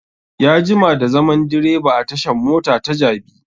Ya jima da zaman direba a tashan mota ta jabi